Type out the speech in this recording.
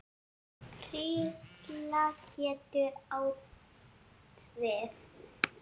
Hrísla getur átt við